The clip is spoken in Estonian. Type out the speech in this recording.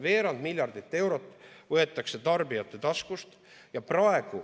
Veerand miljardit eurot võetakse tarbijate taskust.